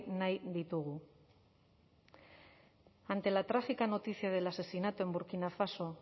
nahi ditugu ante la trágica noticia del asesinato en burkina faso